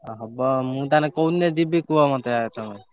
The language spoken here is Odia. ଆଉ ହବ ଆଉ ମୁଁ ତାହେଲେ କୋଉ ଦିନ ଯିବି କୁହ ମତେ ଆଗ ତମେ?